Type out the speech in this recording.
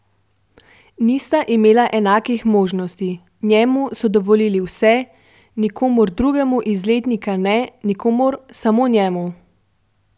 Nista imela enakih možnosti, Njemu so dovolili vse, nikomur drugemu iz letnika ne, nikomur, samo Njemu.